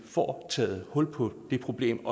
får taget hul på det problem